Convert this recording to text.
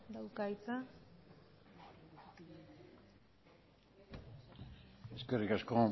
dauka hitza eskerrik asko